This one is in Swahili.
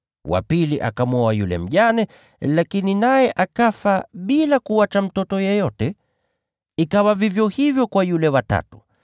Wa pili akamwoa yule mjane, lakini naye akafa bila kuacha mtoto yeyote. Ikawa vivyo hivyo kwa yule wa tatu.